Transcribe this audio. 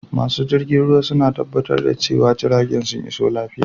Masu jirgin ruwa suna tabbatar da cewa jiragen sun iso lafiya.